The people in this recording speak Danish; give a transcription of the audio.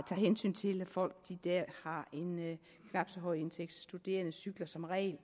tager hensyn til at folk har en knap så høj indtægt studerende cykler som regel